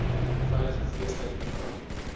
veiliger feestyd program